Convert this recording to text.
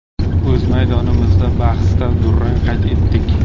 O‘z maydonimizdagi bahsda durang qayd etdik.